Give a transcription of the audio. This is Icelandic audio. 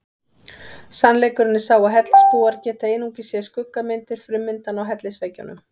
Sannleikurinn er sá að hellisbúar geta einungis séð skuggamyndir frummyndanna á hellisveggjunum.